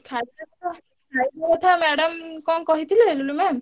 କଥା madam କଣ କହିଥିଲେ ଲୁଲୁ ma'am ?